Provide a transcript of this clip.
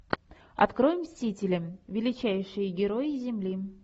открой мстители величайшие герои земли